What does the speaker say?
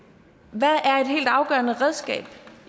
hvad er et helt afgørende redskab